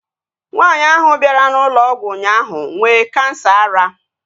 Nwaanyi ahu bịara na ụlọ ọgwụ ụnyaahụ nwee kansa ara